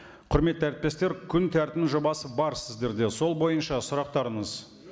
құрметті әріптестер күн тәртібінің жобасы бар сіздерде сол бойынша сұрақтарыңыз